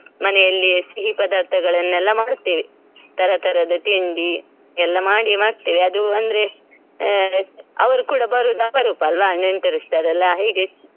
ಮನೆ ಅಲ್ಲ ಸಿಹಿ ಪದಾರ್ಥಗಳನೆಲ್ಲ ಮಾಡುತ್ತೇವೆ ತರತರದ ತಿಂಡಿ ಎಲ್ಲ ಮಾಡಿ ಮತ್ತೆ ಅದು ಅಂದ್ರೆ ಅ ಅವ್ರ್ ಕೂಡ ಬರೋದು ಅಪುರೂಪ ಅಲ್ಲ್ವ ನೆಂಟರಿಷ್ಟರೆಲ್ಲ ಹೀಗೆ.